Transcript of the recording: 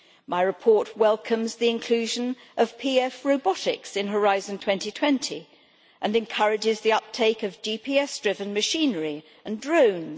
My report welcomes the inclusion of PF robotics in Horizon 2020 and encourages the uptake of GPS driven machinery and drones.